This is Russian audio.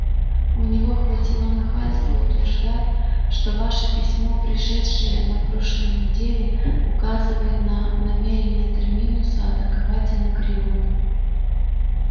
у него хватило нахальства утверждать что ваше письмо пришедшее на прошлой неделе указывает на намерение терминуса атаковать анакреон